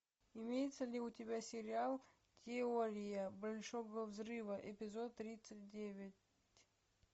имеется ли у тебя сериал теория большого взрыва эпизод тридцать девять